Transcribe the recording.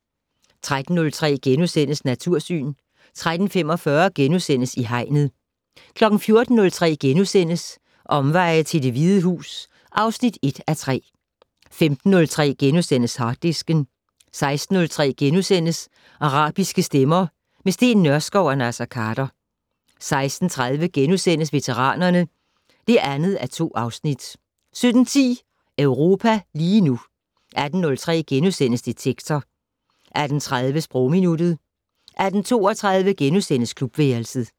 13:03: Natursyn * 13:45: I Hegnet * 14:03: Omveje til Det Hvide Hus (1:3)* 15:03: Harddisken * 16:03: Arabiske stemmer - med Steen Nørskov og Naser Khader * 16:30: Veteranerne (2:2)* 17:10: Europa lige nu 18:03: Detektor * 18:30: Sprogminuttet 18:32: Klubværelset *